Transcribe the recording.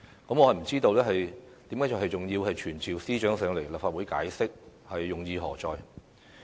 我不知道仍然要傳召司長來立法會解釋，用意何在？